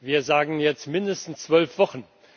Wir sagen jetzt mindestens zwölf Wochen.